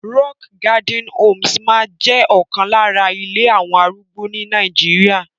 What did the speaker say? Rockgarden Homes máa ọkan lára ilé àwọn arúgbó ní Nàìjíríà.